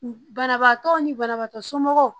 Banabaatɔ ni banabaatɔ somɔgɔw